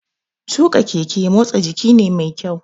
Tuƙa keke motsa jiki ne mai kyau